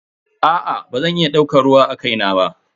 Aa bazan iya daukar ruwa akai na ba.